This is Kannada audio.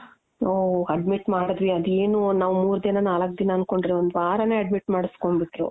ಓಹ್ admit ಮಾಡುದ್ವಿ ಅದ್ ಏನು ನಾವ್ ಮೂರ್ ದಿನ ನಾಲಕ್ ದಿನ ಅನ್ಕೊಂಡ್ರೆ ಒಂದ್ ವಾರಾನೆ admit ಮಾಡುಸ್ಕೋಂಬಿಟ್ರು .